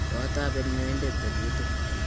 koateben nyoindet tebutik